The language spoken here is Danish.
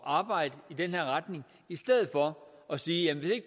arbejde i den retning i stedet for at sige at hvis ikke